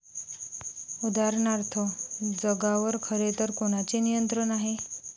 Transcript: उदाहरणार्थ, जगावर खरेतर कोणाचे नियंत्रण आहे?